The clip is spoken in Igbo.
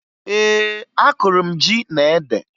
Ee, akụrụ m ji na ede